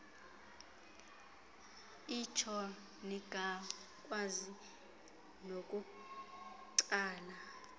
itsho ningakwazi nokutsala